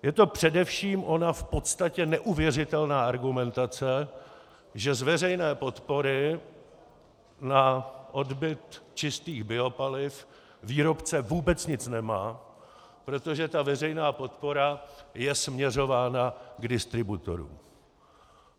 Je to především ona v podstatě neuvěřitelná argumentace, že z veřejné podpory na odbyt čistých biopaliv výrobce vůbec nic nemá, protože ta veřejná podpora je směřována k distributorům.